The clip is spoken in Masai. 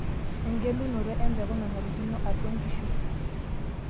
Engelunoto empeku nanarikino atwa nkishu.